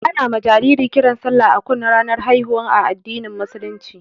Ana ma jariri kiran sallah a kunne ranar haihuwa a addinin musulunci